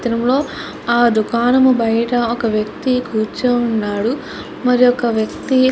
చిత్రంలో ఆ దుకాణం బయట ఒక వ్యక్తి కూర్చుని ఉన్నాడు మరొక వ్యక్తి --